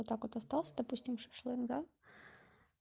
вот так вот остался допустим шашлык да